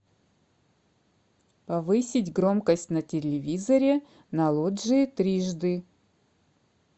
повысить громкость на телевизоре на лоджии трижды